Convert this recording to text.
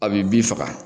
A bi bin faga